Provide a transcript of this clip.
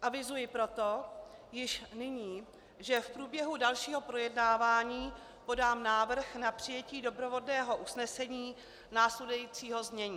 Avizuji proto už nyní, že v průběhu dalšího projednávání podám návrh na přijetí doprovodného usnesení následujícího znění: